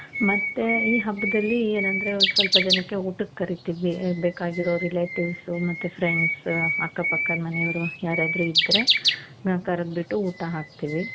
ಮತ್ತೆ ಈ ಹಬ್ಬದಲ್ಲಿ ಏನoದ್ರೆ ಸ್ವಲ್ಪ ಜನಕ್ಕೆ ಊಟಕ್ಕೆ ಕರೀತೀವಿ ಬೇಕಾಗಿರೋ relatives ಮತ್ತೆ friends ಅಕ್ಕ ಪಕ್ಕದ ಮನೆಯವರು ಯಾರಾದ್ರು ಇದ್ದ್ರೆ ನಾವ್ ಕರುದ್ಬಿಟ್ಟು ಊಟ ಹಾಕ್ತೀವಿ .